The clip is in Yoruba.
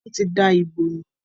Wọn tí da ibo nù.